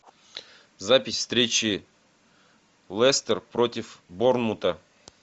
запись встречи лестер против борнмута